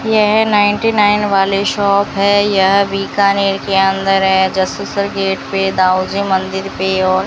येह ninety nine वाले shop है यह बीकानेर के अंदर है जसुसर गेट पे दाऊजी मंदिर पे और --